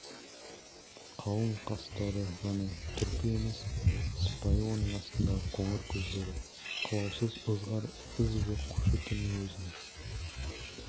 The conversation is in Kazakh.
қалың қастары ғана түрпі емес сыпайы оның астындағы қоңыр көздері қылаусыз ызғар із жоқ кушекиннің өзіне